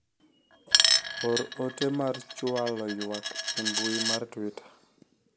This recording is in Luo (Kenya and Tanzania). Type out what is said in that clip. or ote mar chwalo ywak e mbui mar twita